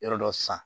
Yɔrɔ dɔ san